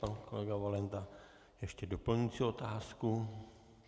Pan kolega Valenta ještě doplňující otázku.